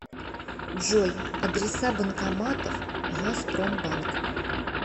джой адреса банкоматов газпромбанк